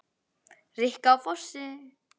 Rikka á Fossi!